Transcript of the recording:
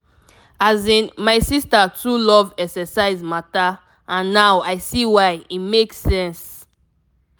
asin my sister too love exercise matter and now i see why e make sense.